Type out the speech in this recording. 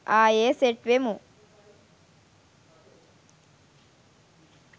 ආයේ සෙට් වෙමු